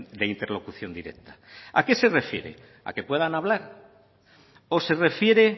de interlocución directa a qué se refiere a que puedan hablar o se refiere